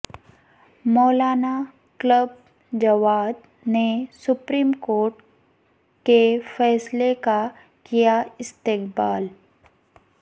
مولانا کلب جواد نے supreme court کے فیصلے کا کیا استقبال